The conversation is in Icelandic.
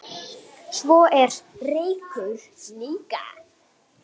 Svo er reykur líka.